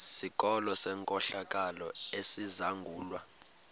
sikolo senkohlakalo esizangulwa